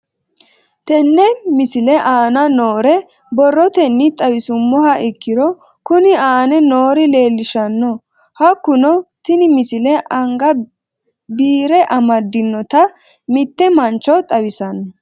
Tenne misile aana noore borrotenni xawisummoha ikirro kunni aane noore leelishano. Hakunno tinni misile anga biire amadinota mitte mancho xawissano.